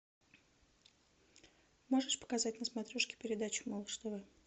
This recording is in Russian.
можешь показать на смотрешке передачу малыш тв